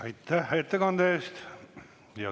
Aitäh ettekande eest!